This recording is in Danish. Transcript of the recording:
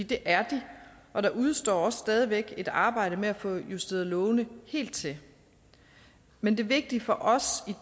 det er de og der udestår også stadig væk et arbejde med at få justeret lovene helt til men det vigtige for os i